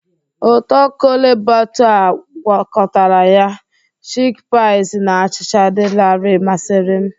Ụtọ Kole Bature a gwakọtara ya, chikpịas na achịcha dị larịị masịrị m.